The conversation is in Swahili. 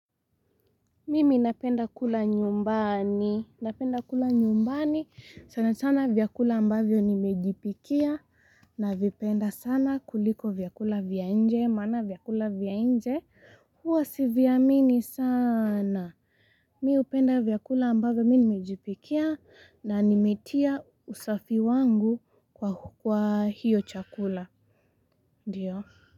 Mimi napenda kula nyumbani, napenda kula nyumbani, sana sana vyakula ambavyo nimejipikia, navipenda sana kuliko vyakula vya nje, maana vyakula vya nje, huwa siviamini sana. Mi hupenda vyakula ambavyo mi nimejipikia, na nimetia usafi wangu kwa hiyo chakula, ndio.